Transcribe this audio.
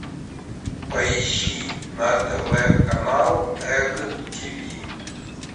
поищи на тв канал эг тиви